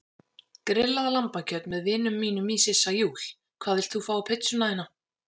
Grillað lambakjöt með vinum mínum í Sissa Júl Hvað vilt þú fá á pizzuna þína?